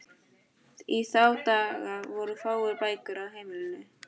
Í þá daga voru fáar bækur á heimilum.